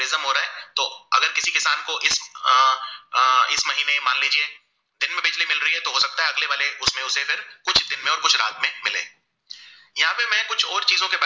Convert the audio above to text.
में कुछ और चीजों